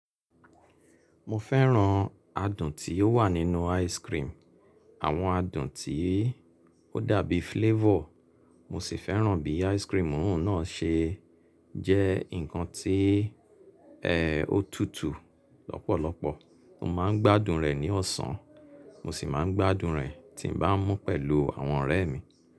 Mo fẹ́ràn adùn tí ó wà nínú ice cream, àwọn adùn tí ó dàbí flavor. Mo sì fẹ́ràn bí ice cream náà ṣe jẹ́ nǹkan tí ó tutù lọ́pọ̀lọpọ̀. Mo máa ń gbádùn rẹ̀ ní ọ̀sán, mo sì máa ń gbádùn rẹ̀ tí m bá mú pẹ̀lú àwọn ọ̀rẹ́ mi.